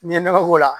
N'i ye nɔgɔ k'o la